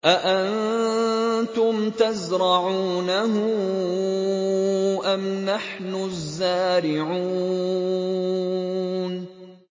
أَأَنتُمْ تَزْرَعُونَهُ أَمْ نَحْنُ الزَّارِعُونَ